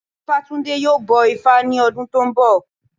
Ifátúndé yóò bọ ifá ní ọdún tó ń bọ̀